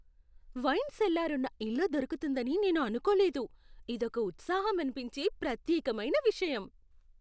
Wine cellar ఉన్న ఇల్లు దొరుకుతుందని నేను అనుకోలేదు. ఇదొక ఉత్సాహం అనిపించే, ప్రత్యేకమైన విషయం .